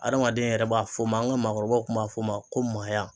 Adamaden yɛrɛ b'a f'o maa an ka maakɔrɔbaw tun b'a f'o ma ko maaya